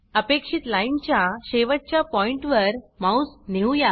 अपेक्षित लाइन च्या शेवटच्या पॉइण्ट वर माउस न्हेवुया